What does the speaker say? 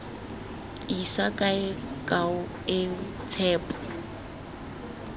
isa kae kao eo tshepo